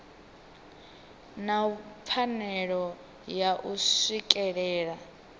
na pfanelo ya u swikelela